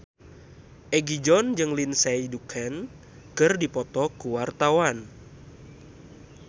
Egi John jeung Lindsay Ducan keur dipoto ku wartawan